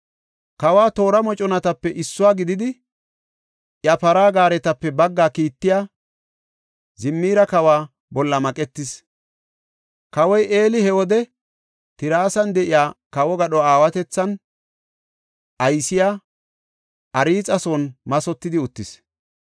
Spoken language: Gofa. Kawa toora moconatape issuwa gididi, iya para gaaretape baggaa kiittiya Zimiri kawa bolla maqetis. Kawoy Eli he wode Tirsan de7iya kawo gadho aawatethan aysiya Arxa son mathotidi uttis.